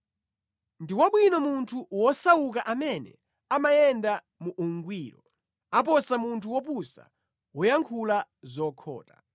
Ndi wabwino munthu wosauka amene amayenda mu ungwiro, aposa munthu wopusa woyankhula zokhota.